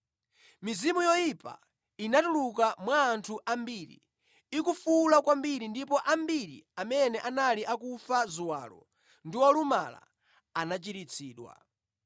Mizimu yoyipa inatuluka mwa anthu ambiri ikufuwula kwambiri ndipo ambiri amene anali akufa ziwalo ndi olumala anachiritsidwa.